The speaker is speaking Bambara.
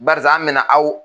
Barisa anw bɛna aw